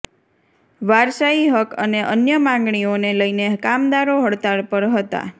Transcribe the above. વારસાઇ હક અને અન્ય માંગણીઓને લઇને કામદારો હડતાળ પર હતા